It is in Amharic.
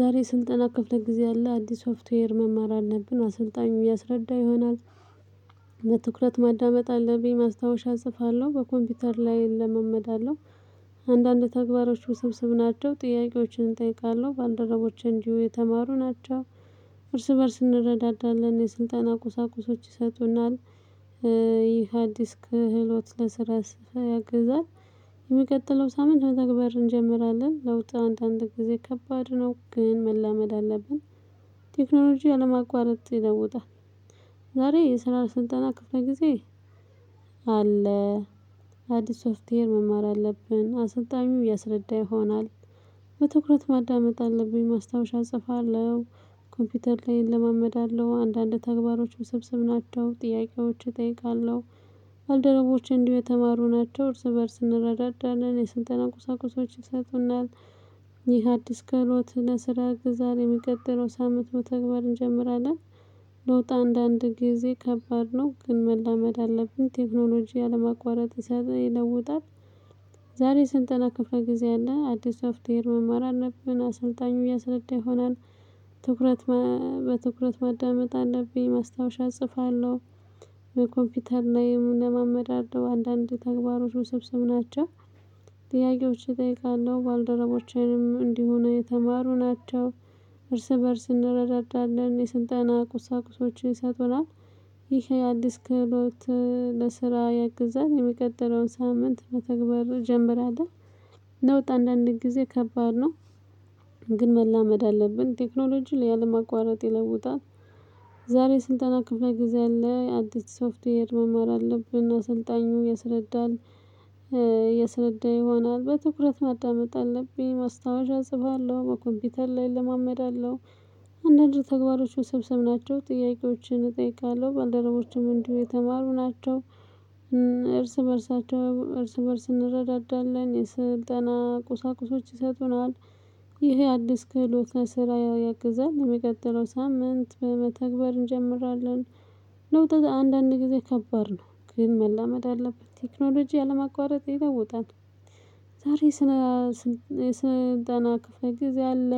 ዛሬ ስልጠና ክፍለ ጊዜ አለ አንዲስ ሶፍትዌር መማር አለብን አሰልጣኙ ያስረዳ ይሆናል። በትኩረት ማዳመጥ አለብኝ ማስታወሻ እጽፋለሁ በኮምፒውተር ላይ እለማመዳለሁ። አንዳንድ ተግባሮች ውስብስብ ናቸው ጥያቄዎችን እጠይቃለሁ ባልደረቦቼ እንዲው የተማሩ ናቸው። እርስ በእርስ እንረዳዳለን የስልጣን ቁሳቁሶች ይሰጡናል። ይህ አዲስ ክህሎት ለስራ ስፍራ ያግዛል። የሚቀጥለው ሳምንት መተግበር እንጀምራለን ለውጥ አንድ አንድ ጊዜ ከባድ ነው ግን መላመድ አለብን። ቴክኖሎጂ አለማቋረጥ ይለውጣል። ዛሬ የስራ ስልጠና ክፍለ ጊዜ። አለ። አዲስ ሶፍትዌር መማር አለብን አሰልጣኙ ያስረዳ ይሆናል። በትኩረት ማዳመጥ አለብኝ ማስታወሻ እጽፋለሁ። ኮምፒውተር ላይ እለማመዳለሁ አንዳንድ ተግባሮች ውስብስብ ናቸው ጥያቄዎች እጠይቃለሁ። ባልደረቦቼ እንዲሁ የተማሩ ናቸው እርስ በእርስ እንረዳናለን የስልጠና ቁሳቁሶች ይሰጡናል። ይህ አዲስ ክህሎት ለስራ ያግዛል የሚቀጥለው ሳምንት መተግበር እንጀምራለን። ለውጥ አንዳንድ ጊዜ ከባድ ነው ግን መላመድ አለብን ቴክኖሎጂ አለማቋረጥ ይለውጣል። ዛሬ ስልጠና ከፍለ ጊዜ አለን አዲስ ሶፍትዌር መማር አለብን አሰልጣኙ ያስረዳ ይሆናል። ትኩረት በትኩረት ማዳመጥ አለብኝ ማስታወሻ እጽፋለሁ። በኮምፒውተር ላይ እለማመዳለሁ አንዳንድ ተግባሮች ውስብስብ ናቸው። ጥያቄዎች እጠይቃለሁ ባልደረቦቼንም እንዲሆኑ የተማሩ ናቸው። እርስ በእርስ እንረዳዳለን የስልጠና ቁሳቁሶችን ይሰጡናል። ይሄ አዲስ ክህሎት ለስራ ያግዛል የሚቀጥለውን ሳምንት መተግበር እጀምራለሁ። ለውጥ አንድ አንድ ጊዜ ከባድ ነው። ግን መላመድ አለብን ቴክኖሎጂ ያለማቋረጥ ይለውጣል። ዛሬ ስልጠና ክፍለ ጊዜ አለ። አዲስ ሶፍትዌር መማር አለብን አሰልጣኙ ያስረዳል። ያሰረዳ ይሆናል በትኩረት ማዳመጥ አለብኝ ማስታወሻ እጽፋለሁ በኮምፒውተር ላይ እለማመዳለው። አንዳንድ ተግባሮች ውስብስብ ናቸው ጥያቄዎችን እጠይቃለሁ ባልደረቦችም እንዲሁ የተማሩ ናቸው። እርስ በእርሳቸው እርስ በእርስ እንረዳዳለን የስልጠና ቁሳቁሶች ይሰጡናል። ይሄ አዲስ ክህሎት ለስራ ያግዛል የሚቀጥለው ሳምንት መተግበር እንጀምራለን። ለውጥ አንዳንድ ጊዜ ከባድ ነው ግን መላመድ አለበት ቴክኖሎጂ ያለማቋረጥ ይለውጣል። ዛሬ ስነ የስልጠና ክፍለ ጊዜ አለ።